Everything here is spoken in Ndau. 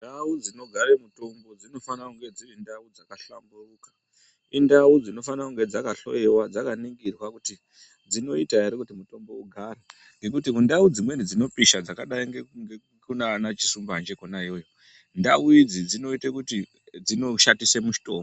Ndau dzinogare mitombo dzinofana kunge dziri ndau dzakahlamburuka. Indau dzinofana kunge dzakahloiwa, dzakaningirwa kuti dzinoita ere kuti mutombo ugare ngekuti kundau dzimweni dzinopisha dzakadai nekunana Chisumbanje kona iyoyo, ndau idzi dzinoite kuti dzinoshatise mishonga.